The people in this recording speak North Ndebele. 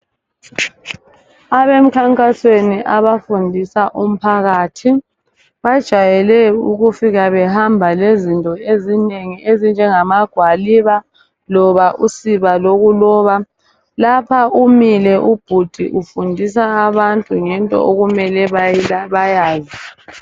Abomkhankaso abafundisa umphakathi bajayele ukufika behamba lezinto ezinengi ezinjengamagwaliba loba usiba lokuloba, lapha umile ubhudi ufundisa abantu ngento okumele bayazi.